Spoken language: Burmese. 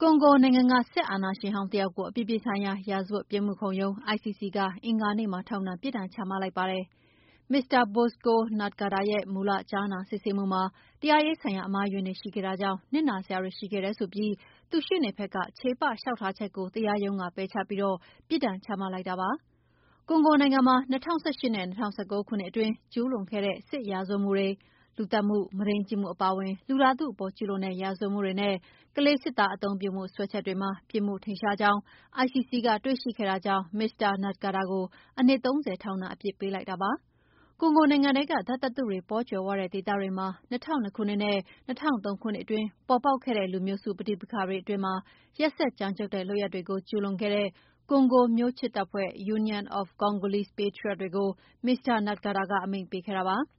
ကွန်ဂိုနိုင်ငံ စစ်အာဏာရှင်ဟောင်းတယောက်ကို အပြည်ပြည်ဆိုင်ရာ ရာဇဝတ်ပြစ်မှုခုံရုံး ICC က အင်္ဂါနေ့မှာ ထောင်ဒဏ်ပြစ်ဒဏ် ချမှတ်လိုက်ပါတယ်။ မစ္စတာ Bosco Ntaganda ရဲ့ မူလကြားနာ စစ်ဆေးမှုမှာ တရားရေးဆိုင်ရာ အမှားအယွင်းတွေ ရှိခဲ့တာကြောင့် နစ်နာစရာတွေ ရှိခဲ့တယ်ဆိုပြီး သူ့ရှေ့နေဘက်က ချေပလျှောက်ထားချက်ကို တရားရုံးက ပယ်ချပြီး ပြစ်ဒဏ်ချမှတ် လိုက်တာဖြစ်ပါတယ်။ ကွန်ဂိုနိုင်ငံမှာ ၂၀၁၈ နဲ့ ၂၀၁၉ ခုနှစ်အတွင်း ကျူးလွန်ခဲ့တဲ့ စစ်ရာဇဝတ်မှုတွေ၊ လူသတ်မှု၊ မုဒိမ်းကျင့်မှု အပါအဝင် လူသားထုအပေါ် ကျူးလွန်တဲ့ ရာဇဝတ်မှုတွေနဲ့ ကလေးစစ်သား အသုံးပြုမှုစွဲချက်တွေမှာ ပြစ်မှုထင်ရှားကြောင်း ICC ကတွေ့ရှိခဲ့တာကြောင့် မစ္စတာ Ntaganda ကို နှစ်၃၀ ထောင်ဒဏ် အပြစ်ပေးလိုက်တာပါ။ ကွန်ဂိုနိုင်ငံထဲက ဓာတ်သတ္တုတွေ ပေါ်ကြွယ်ဝတဲ့ ဒေသတွေမှာ ၂၀၀၂ ခုနှစ်နဲ့ ၂၀၀၃ ခုနှစ်အတွင်း ပေါ်ပေါက်ခဲ့တဲ့ လူမျိုးစုပဋိပက္ခတွေအတွင်း ရက်စက်ကြမ်းကြုတ်တဲ့ လုပ်ရပ်တွေကျူးလွန်ခဲ့တဲ့ ကွန်ဂိုမျိုးချစ်တပ်ဖွဲ့ Union of Congolese Patriots တွေကို မစ္စတာ Ntaganda က အမိန့်ပေးခဲ့တာဖြစ်ပါတယ်။